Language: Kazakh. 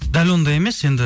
дәл ондай емес енді